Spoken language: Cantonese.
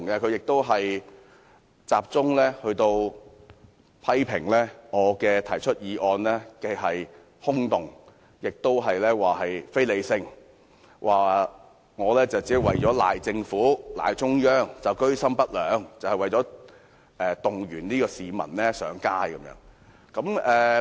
他集中批評我的議案空洞和非理性，說我居心不良，提出議案只是為了把責任推卸給政府和中央，以及動員市民上街。